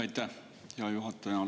Aitäh, hea juhataja!